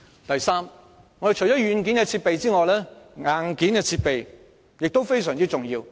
第三，除軟件外，硬件設備亦非常重要。